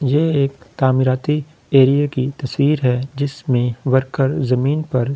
ये एक एरिये की तस्वीर है जिसमें वर्कर जमीन पर--